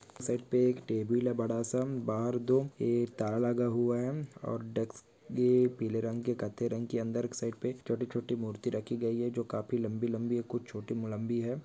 Set पे एक table है बड़ा सा बहार दो ताला लगा हुआ है और डेस्क ये पीले रंग के कत्थे रंग के अंदर एक साइट पे छोटे-छोटे मूर्ति रखी गयी है जो काफी लम्बी लम्बी कुछ छोटी म लम्बी है।